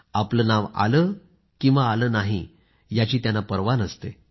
आपलं नाव आलं किंवा आलं नाही याची त्यांना पर्वा नसते